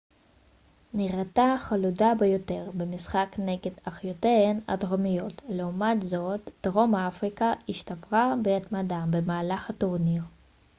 נראתה חלודה ביותר במשחק נגד אחיותיהן הדרומיות לעומת זאת דרום אפריקה השתפרה בהתמדה במהלך הטורניר